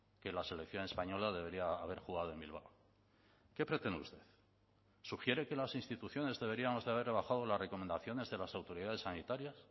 que la selección española debería haber jugado en bilbao qué pretende usted sugiere que las instituciones deberíamos de haber rebajado las recomendaciones de las autoridades sanitarias